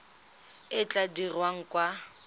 e e tla dirwang kwa